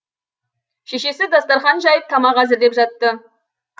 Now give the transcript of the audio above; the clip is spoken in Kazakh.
шешесі дастарқан жайып тамақ әзірлеп жатты